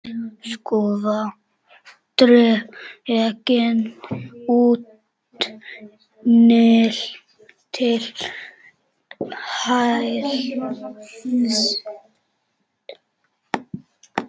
Skúffa dregin út til hálfs.